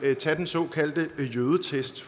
tage den såkaldte jødetest